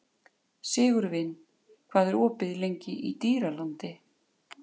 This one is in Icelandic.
Sigurvin, hvað er opið lengi í Dýralandi?